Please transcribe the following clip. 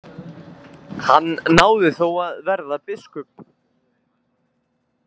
Hann náði þó að verða biskup.